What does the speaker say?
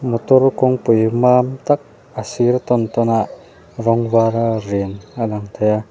motor kawngpui mam tak a sir tawn tawn ah rawng var a rin a lang thei a.